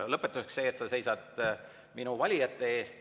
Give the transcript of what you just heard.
Lõpetuseks see, et sa seisad minu valijate eest.